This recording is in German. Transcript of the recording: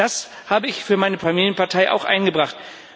Das habe ich für meine Familienpartei auch eingebracht.